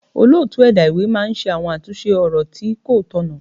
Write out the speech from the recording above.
Olóòtú ẹ̀dá ìwé máa ń ṣe àwọn àtúnṣe ọ̀rọ̀ tí kó tọ̀nà.